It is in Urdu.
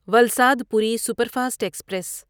Valsad Puri superfast express